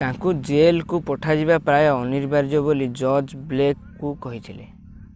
ତାଙ୍କୁ ଜେଲକୁ ପଠାଯିବା ପ୍ରାୟ ଅନିବାର୍ଯ୍ୟ ବୋଲି ଜଜ୍ ବ୍ଲେକ କୁ କହିଥିଲେ